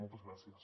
moltes gràcies